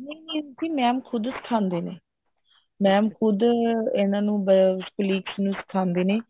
ਨਹੀਂ ਜੀ mam ਖੁਦ ਸਿਖਾਉਂਦੇ ਨੇ mam ਖੁਦ ਇਹਨਾ ਨੂੰ colleagues ਨੂੰ ਸਿਖਾਉਂਦੇ ਨੇ